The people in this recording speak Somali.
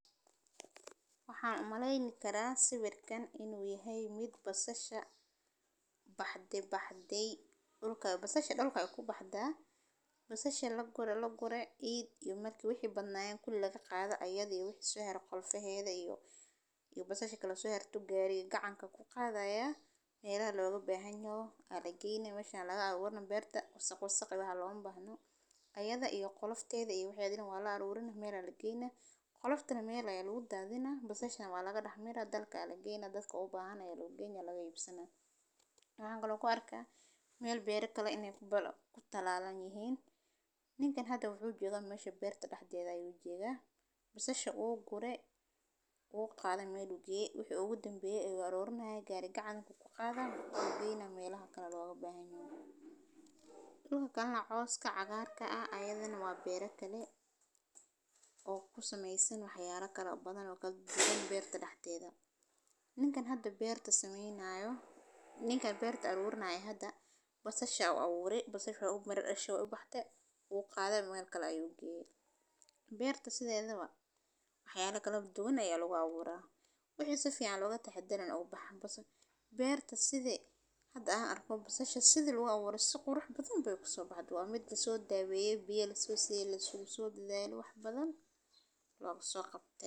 Waxan umeleyni karaa sawirkan inu yahay ,mid basasha bahdey. Basashan lagure iyada iyo wixi sohara qolfaheda iyo basasha kale oo so harte ayu gari gacanka ku qadaya melaha loga bahanyahay ayu geudaya. Ayada iyo weheda waa lacarurina mel kale aya lageyna ,basashan waa laga dahmira oo dadka u bahan aa loo geyna .Waxan kale oo ku arka mel beero kale iney kutalalan yihin ,ninkan hada mesha oo berta dexdedha ayu joga ,basasha uu gure uu qade mel uu geye, wixi ugu danbeyana wuu arurinaya gari gacan ayu kuqadaya oo kusameysan wax yala kala duwan oo berta dexdedha ninkan hada berta sameynayo oo berta aburanayo basasha uu hada u rawo u mira dashe u qadhe mel kale ayu geye. Berta sidhedaba wax yala kala duwan aya lagu aburaa wixi si fican loga tahadaro uu baha .Berta sidhi hada an arko, basasha sidhi an arko ,sidha loo abure si qurux badan bey kuso baxde ,hade waa mid laso daweye biyo laso siye lagu so dadhale wax badan laga so qabte.